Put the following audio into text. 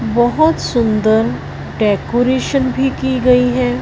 बहोत सुंदर डेकोरेशन भी की गई है।